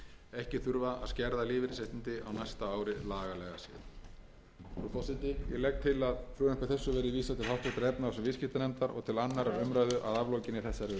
ekki þurfa að skerða lífeyrisréttindi á næsta ári lagalega séð virðulegi forseti ég legg til að frumvarpi þessu verði vísað til háttvirtrar efnahags og viðskiptanefndar og til annarrar umræðu að aflokinni þessari umræðu